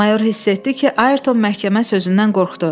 Mayor hiss etdi ki, Ayrton məhkəmə sözündən qorxdu.